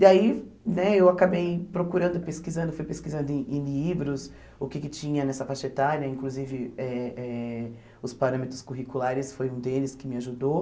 E aí né eu acabei procurando, pesquisando, fui pesquisando em em livros o que que tinha nessa faixa etária, inclusive eh eh os parâmetros curriculares, foi um deles que me ajudou.